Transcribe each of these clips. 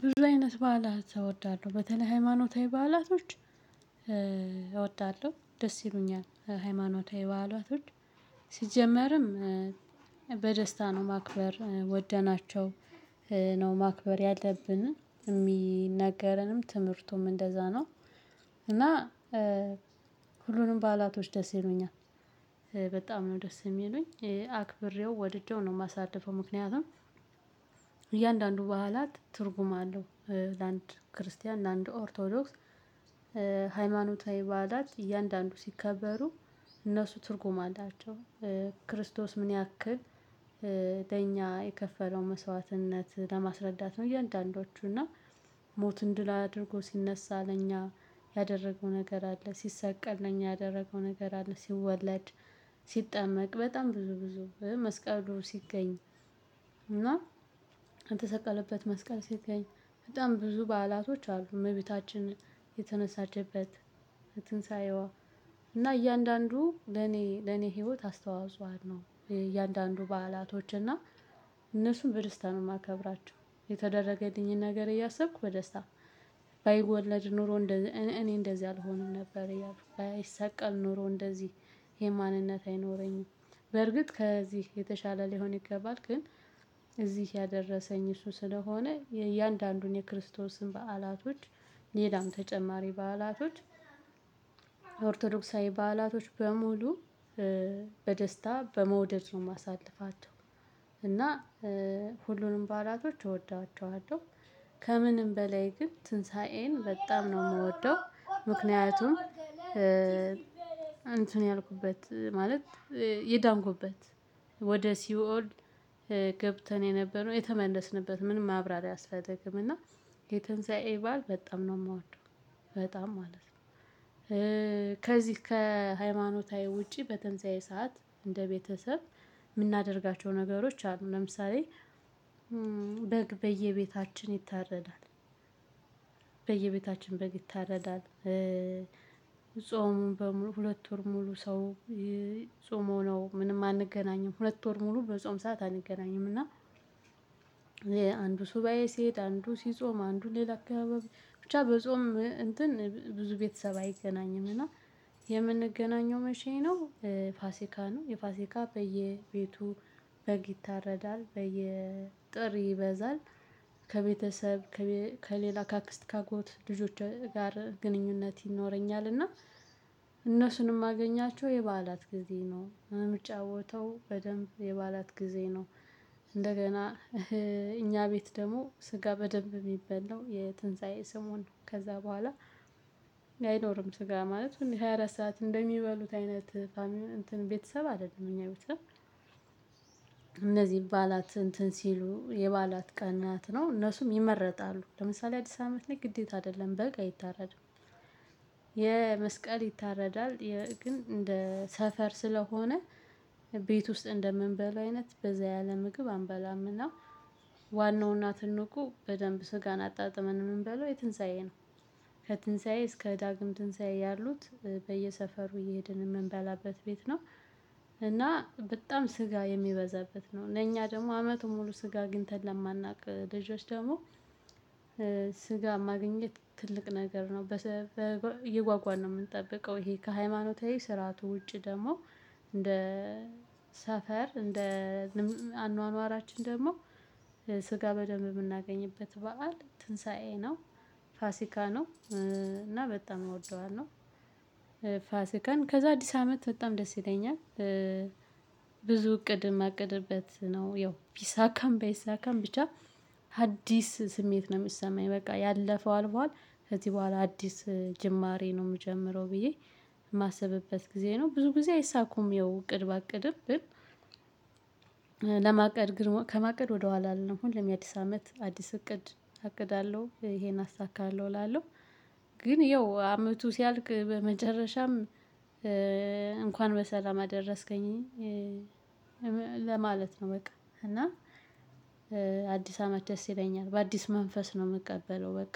ብዙ አይነት በዓላት እወዳለሁ በተለይ ሃይማኖታዊ በዓላቶች እወዳለሁ ደስ ይሉኛል ሃይማኖታዊ በዓላት ሲጀመርም በደስታ ነው ማክበር ወደናቸው ነው ማክበር ያለብንን የሚነገረንም ትምህርቱም እንደዛ ነው። እና ሁሉንም በዓላቶች ደስ ይሉኛል። በጣም ነው ደስ የሚሉኝ አክብሬው ወድጄው ነው የማሳድፈው ምክንያቱም እያንዳንዱ ባህላት ትርጉም አለው። ለአንድ ክርስቲያን ለአንድ ኦርቶዶክስ ሃይማኖታዊ በዓላት እያንዳንዱ ሲከበሩ እነሱ ትርጉም አላቸው። ክርስቶስ ምን ያክል ለኛ የከፈለው መስዋዕትነት ለማስረዳት ነው። የእያንዳንዳችሁ እና ሞት እንድል አድርጎ ሲነሳ ለኛ ያደረገው ነገር አለ ሲሰቀል ለኛ ያደረገው ነገር አለ። ሲወለድ ሲጠመቅ በጣም ብዙ ብዙ መስቀሉ ሲገኝ እና የተሰቀለበት መስቀል ሲገኝ በጣም ብዙ በዓላቶች አሉ። እመቤታችን የተነሳችበት ትንሳኤዋ እና እያንዳንዱ ለኔ ለኔ ህይወት አስተዋጽኦ አድኖ እያንዳንዱ በዓላቶች እና እነሱን በደስታ ነው የማከብራቸው። የተደረገልኝን ነገር እያሰብኩ በደስታ ባይወለድ ኖሮ እኔ እንደዚህ አልሆንም ነበር። ባይሰቀል ኖሮ እንደዚህ የማንነት አይኖረኝም። በርግጥ ከዚህ የተሻለ ሊሆን ይገባል ግን እዚህ ያደረሰኝ እሱ ስለሆነ የእያንዳንዱን የክርስቶስን በዓላቶች ሌላም ተጨማሪ በዓላቶች የኦርቶዶክሳዊ በዓላቶች በሙሉ በደስታ በመውደድ ነው የማሳልፋቸው። እና ሁሉንም ባላቶች እወዳቸዋለሁ። ከምንም በላይ ግን ትንሳኤን በጣም ነው የምወደው ምክንያቱም እንትን ያልኩበት ማለት የዳንኩበት ወደ ሲኦል ገብተን የነበረው የተመለስንበት ምንም ማብራሪያ አያስፈልግም። እና የትንሳኤ በዓል በጣም ነው የማወደው። በጣም ማለት ነው። ከዚህ ከሃይማኖታዊ ውጪ በትንሳኤ ሰዓት እንደ ቤተሰብ የምናደርጋቸው ነገሮች አሉ። ለምሳሌ በየቤታችን ይታረዳል። በየቤታችን በግ ይታረዳል። ጾሙን በሙሉ ሁለት ወር ሙሉ ሰው ጾመው ነው ምንም አንገናኝም። ሁለት ወር ሙሉ በጾም ሰዓት አንገናኝም። እና አንዱ ሱባኤ ሲሄድ አንዱ ሲጾም አንዱ ሌላ አካባቢ ብቻ በጾም እንትን ብዙ ቤተሰብ አይገናኝምና። የምንገናኘው መቼ ነው? ፋሲካ ነው የፋሲካ በየቤቱ በግ ይታረዳል በየጥሪ ይበዛል። ከቤተሰብ ከሌላ ከአክስት ካጎት ልጆች ጋር ግንኙነት ይኖረኛል። እና እነሱንም ማገኛቸው የበዓላት ጊዜ ነው። ምጫወተው በደንብ የባላት ጊዜ ነው። እንደገና እኛ ቤት ደግሞ ስጋ በደንብ የሚበላው የትንሳኤ ስሞን ከዛ በኋላ አይኖርም። ስጋ ማለት ነው። የ24 ሰዓት እንደሚበሉት አይነት ቤተሰብ አይደለም እኛ ቤተሰብ። እንደዚህ ይባላት እንትን ሲሉ የባላት ቀን ናት ነው እነሱም ይመረጣሉ ለምሳሌ አዲስ አመት ላይ ግዴታ አይደለም በግ አይታረድም። የመስቀል ይታረዳል ግን እንደ ሰፈር ስለሆነ ቤት ውስጥ እንደምንበላ አይነት በዛ ያለ ምግብ አንበላምና። ዋናውና ትልቁ በደንብ ስጋን አጣጥመን ምን በለው የትንሳኤ ነው። ከትንሳኤ እስከ ዳግም ትንሳኤ ያሉት በየሰፈሩ እየሄድን የምንበላበት ቤት ነው። እና በጣም ስጋ የሚበዛበት ነው። እኛ ደግሞ አመቱ ሙሉ ስጋ አግንተን ለማናውቅ ልጆች ደግሞ ስጋ ማግኘት ትልቅ ነገር ነው በሰበ እየጓጓን ነው የምንጠብቀው። ይሄ ከሃይማኖታዊ ስርዓቱ ውጪ ደግሞ እንደ ሰፈር እንደ አኗኗራችን ደግሞ ስጋ በደንብ የምናገኝበት በዓል ትንሳኤ ነው። ፋሲካ ነው እና በጣም እወደዋለሁ። ፋሲካን ከዛ አዲስ አመት በጣም ደስ ይለኛል። ብዙ እቅድ የማቅድበት ነው ያው ቢሳካም ባይሳካም ብቻ አዲስ ስሜት ነው የሚሰማኝ በቃ ያለፈው አልፏል። ከዚህ በኋላ አዲስ ጅማሬ ነው የምጀምረው ብዬ የማስብበት ጊዜ ነው። ብዙ ጊዜ አይሳኩም ይኸው እቅድ ባቅድም ባቅድብን። ለማቀድ ግን ከማቀድ ወደ ኋላ ነው አሁን ለሚያዲስ አመት አዲስ እቅድ አቅዳለሁ ይሄን አሳካለሁ እላለሁ። ግን ያው አመቱ ሲያልቅ በመጨረሻም መጨረሻም እንኳን በሰላም አደረስከኝ። ለማለት ነው። በቃ እና አዲስ አመት ደስ ይለኛል። በአዲስ መንፈስ ነው የምቀበለው። በቃ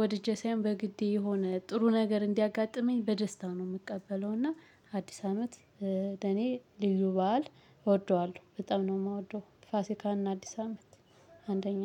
ወድጄ ሳይሆን የሆነ ጥሩ ነገር እንዲያጋጥመኝ በደስታ ነው የምቀበለው። እና አዲስ አመት ለኔ ሊይዙ በዓል እወደዋለሁ በጣም ነው የማወደው። ፋሲካን አዲስ አመት አንደኛ